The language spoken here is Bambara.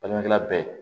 Balimakɛla bɛɛ